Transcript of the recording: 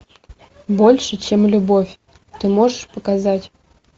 больше чем любовь ты можешь показать